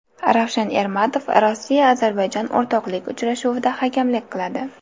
Ravshan Ermatov Rossiya Ozarbayjon o‘rtoqlik uchrashuvida hakamlik qiladi.